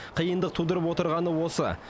қиындық тудырып отырғаны осы